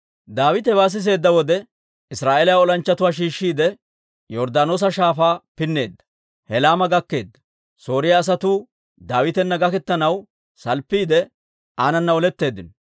Daawite hewaa siseedda wode, Israa'eeliyaa olanchchatuwaa shiishshiide, Yorddaanoosa Shaafaa pinneedda; Helaama gakkeedda. Sooriyaa asatuu Daawitana gaketanaw salppiide, aanana oletteeddino.